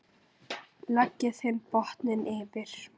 Leggið hinn botninn yfir.